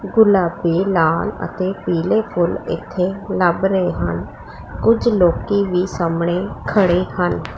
ਗੁਲਾਬੀ ਲਾਲ ਅਤੇ ਪੀਲੇ ਫੁੱਲ ਇਥੇ ਲੱਭ ਰਹੇ ਹਨ ਕੁਝ ਲੋਕੀ ਵੀ ਸਾਹਮਣੇ ਖੜੇ ਹਨ।